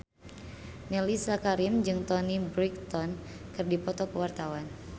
Mellisa Karim jeung Toni Brexton keur dipoto ku wartawan